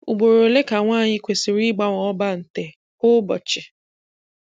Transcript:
Ugboro ole ka nwaanyị kwesịrị ịgbanwe ọbante kwa ụbọchị?